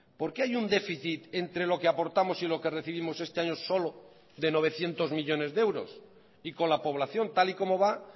porque hay un déficit entre lo que aportamos y lo que recibimos este año solo de novecientos millónes de euros y con la población tal y como va